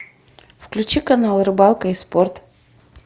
включи канал рыбалка и спорт